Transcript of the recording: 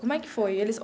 Como é que foi eles